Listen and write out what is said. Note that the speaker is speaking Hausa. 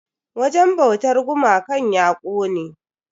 Wajen bautan gumakan ya kone.